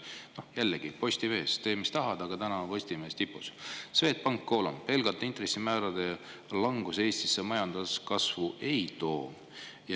Jällegi Postimeest, sest tee mis tahad, aga täna on Postimees tipus: "Swedbank: pelgalt intressimäärade langus Eestisse majanduskasvu ei too".